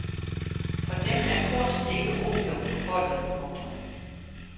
For dem er kunst ikke opium for folket. punktum